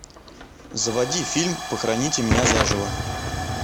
заводи фильм похороните меня заживо